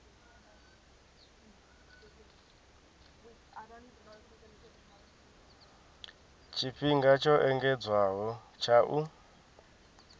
tshifhinga tsho engedzedzwaho tsha u